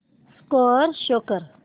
score show कर